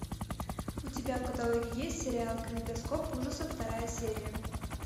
у тебя в каталоге есть сериал калейдоскоп ужасов вторая серия